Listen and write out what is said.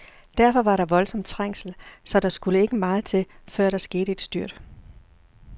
Derfor var der voldsom trængsel, så der skulle ikke meget til, før der skete et styrt.